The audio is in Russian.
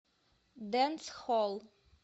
дэнсхолл